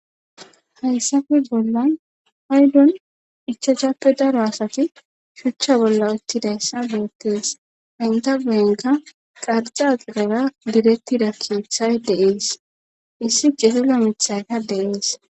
hayssafe bolla paydon ichacappe daro asati shuchcha bolla uttidayssa beettees inta geenka qarcaqidara direttida kiyothay deees issi cezila mithayka deees